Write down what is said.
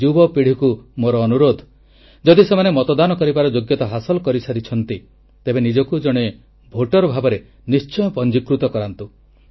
ଯୁବପିଢ଼ିକୁ ମୋର ଅନୁରୋଧ ଯଦି ସେମାନେ ମତଦାନ କରିବାର ଯୋଗ୍ୟତା ହାସଲ କରିସାରିଛନ୍ତି ତେବେ ନିଜକୁ ଜଣେ ଭୋଟର ଭାବରେ ନିଶ୍ଚୟ ପଞ୍ଜୀକୃତ କରାନ୍ତୁ